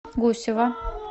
гусева